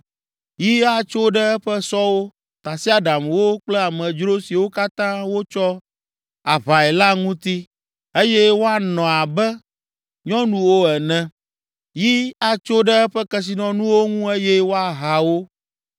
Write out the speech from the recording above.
Yi atso ɖe eƒe sɔwo, tasiaɖamwo kple amedzro siwo katã wotsɔ aʋae la ŋuti eye woanɔ abe nyɔnuwo ene! Yi atso ɖe eƒe kesinɔnuwo ŋu eye woaha wo!